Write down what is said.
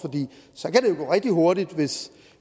så kan det gå rigtig hurtigt hvis